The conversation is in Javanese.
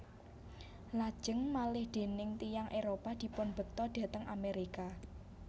Lajeng malih déning tiyang Éropah dipunbekta dhateng Amerika